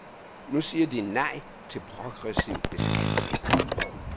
Nu siger de nej til progressiv beskatning.